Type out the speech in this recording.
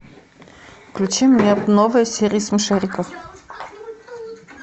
включи мне новые серии смешариков